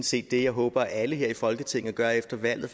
set det jeg håber at alle her i folketinget gør efter valget